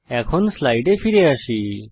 এখন স্লাইডে ফিরে আসি